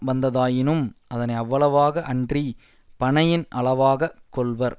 வந்ததாயினும் அதனை அவ்வளவாக அன்றி பனையின் அளவாக கொள்வர்